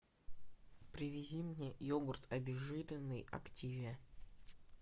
привези мне йогурт обезжиренный активия